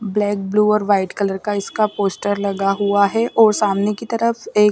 black blue और white colour का इसका पोस्टर लगा हुआ है और सामने की तरफ एक--